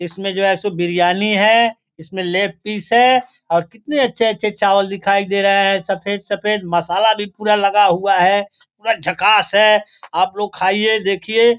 इसमें जो है सो इसमें बिरयानी है इसमें लेग पीस है और कितने अच्छे-अच्छे चावल दिखाई दे रहे है सफेद सफेद मसाला भी पूरा लगा हुआ है पूरा झकास है आप लोग खाइये देखिये।